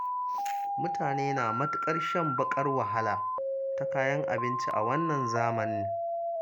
Mutane na matuƙar shan baƙar wahala ta kayan abinci a wannan zamanin.